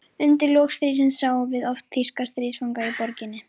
Undir lok stríðsins sáum við oft þýska stríðsfanga í borginni.